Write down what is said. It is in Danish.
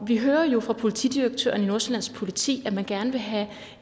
vi hører jo fra politidirektøren i nordsjællands politi at man gerne vil have